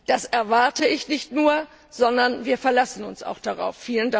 Das erwarte ich nicht nur, sondern wir verlassen uns auch darauf.